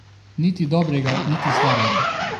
Niti dobrega niti slabega.